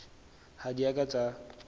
ha di a ka tsa